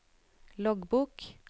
loggbok